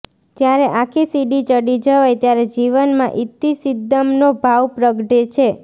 જ્યારે આખી સીડી ચડી જવાય ત્યારે જીવનમાં ઇતિ સિદ્ધમનો ભાવ પ્રગટે છે